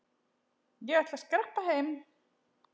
Ég ætla að skreppa heim.